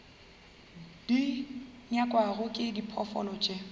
di nyakwago ke diphoofolo tše